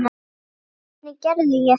Hvernig gerði ég það?